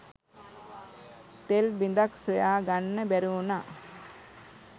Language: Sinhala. තෙල් බිඳක් සොයා ගන්න බැරි වුණා.